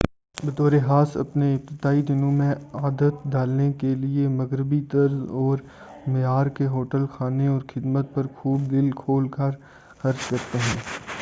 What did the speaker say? بطور خاص اپنے ابتدائی دنوں میں عادت ڈالنے کے لئے مغربی طرز اور معیار کے ہوٹل کھانے اور خدمات پر خوب دل کھول کر خرچ کریں